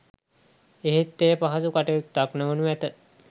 එහෙත් එය පහසු කටයුත්තක් නොවනු ඇත